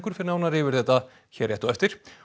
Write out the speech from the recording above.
fer nánar yfir þetta hér rétt á eftir